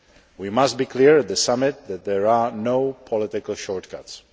We must be clear at the summit that there are no political short cuts.